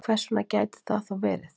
Hvers vegna gæti það þá verið?